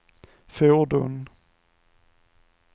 fordon